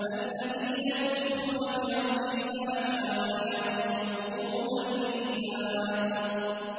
الَّذِينَ يُوفُونَ بِعَهْدِ اللَّهِ وَلَا يَنقُضُونَ الْمِيثَاقَ